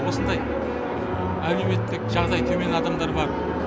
осындай әлеуметтік жағдайы төмен адамдар бар